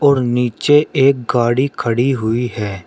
नीचे एक गाड़ी खड़ी हुई है।